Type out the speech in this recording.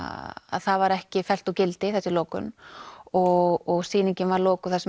það var ekki fellt úr gildi þessi lokun og sýningin var lokuð það sem